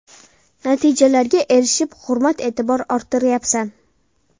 Natijalarga erishib, hurmat-e’tibor orttiryapsan.